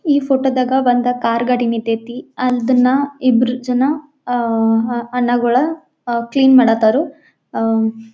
ಈ ಫೋಟೋದಾಗ ಒಂದ ಕಾರ್ ಗಾಡಿ ನಿಂತೈತಿ ಅದನ್ನ ಇಬ್ರು ಜನ ಅ ಅಣ್ಣಗಳು ಅ ಕ್ಲೀನ್ ಮಾಡ ಹತ್ತಾರು. ಆಹ್ಹ್--